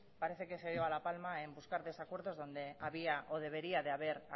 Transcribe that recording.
parece que se lleva la palma en buscar desacuerdos donde había o debería haber